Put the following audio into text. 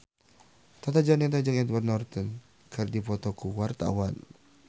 Tata Janeta jeung Edward Norton keur dipoto ku wartawan